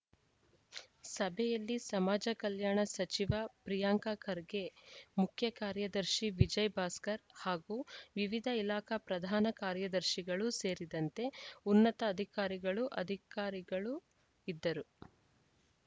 ಸಭೆಯಲ್ಲಿ ಸಮಾಜ ಕಲ್ಯಾಣ ಸಚಿವ ಪ್ರಿಯಾಂಕ ಖರ್ಗೆ ಮುಖ್ಯ ಕಾರ್ಯದರ್ಶಿ ವಿಜಯ್‌ ಭಾಸ್ಕರ್‌ ಹಾಗೂ ವಿವಿಧ ಇಲಾಖಾ ಪ್ರಧಾನ ಕಾರ್ಯದರ್ಶಿಗಳು ಸೇರಿದಂತೆ ಉನ್ನತ ಅಧಿಕಾರಿಗಳು ಅಧಿಕಾರಿಗಳು ಇದ್ದರು